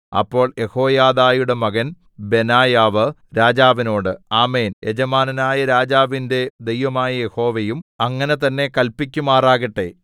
അപ്പോൾ യെഹോയാദയുടെ മകൻ ബെനായാവ് രാജാവിനോട് ആമേൻ യജമാനനായ രാജാവിന്റെ ദൈവമായ യഹോവയും അങ്ങനെ തന്നേ കല്പിക്കുമാറാകട്ടെ